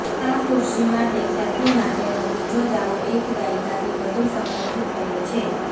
આ ખુરશી માટે ખ્યાતિ માટેનો બીજો દાવો એક દાયકાથી વધુ સમયથી થયો છે